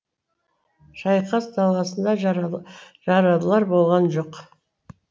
шайқас даласында жаралылар болған жоқ